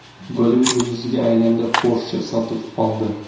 Gollivud yulduziga aylandi – Porsche sotib oldi!